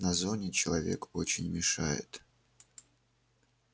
на зоне человечек очень мешает